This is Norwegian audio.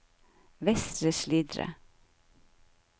Vestre Slidre